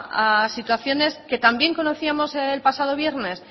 a situaciones que también conocíamos el pasado viernes